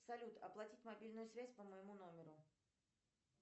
салют оплатить мобильную связь по моему номеру